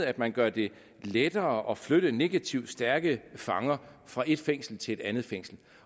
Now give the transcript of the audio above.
at man gør det lettere at flytte negativt stærke fanger fra et fængsel til et andet fængsel